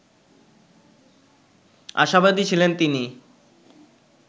আশাবাদী ছিলেন তিনি